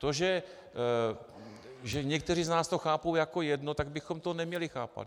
To, že někteří z nás to chápou jako jedno, tak bychom to neměli chápat.